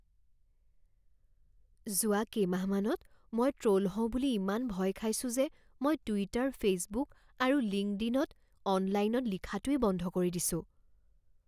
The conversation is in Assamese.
যোৱা কেইমাহমানত মই ট্ৰ'ল হওঁ বুলি ইমান ভয় খাইছোঁ যে মই টুইটাৰ ফে'চবুক আৰু লিংকডইনত অনলাইনত লিখাটোৱেই বন্ধ কৰি দিছোঁ।